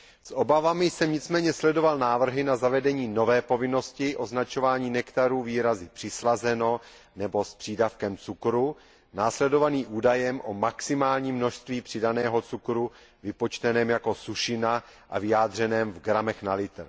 S obavami jsem nicméně sledoval návrhy na zavedení nové povinnosti označování nektarů výrazy přislazeno nebo s přídavkem cukru následovanými údajem o maximálním množství přidaného cukru vypočteném jako sušina a vyjádřeném v gramech na litr.